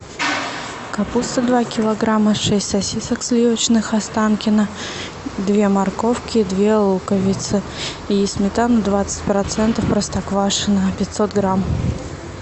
капуста два килограмма шесть сосисок сливочных останкино две морковки две луковицы и сметану двадцать процентов простоквашино пятьсот грамм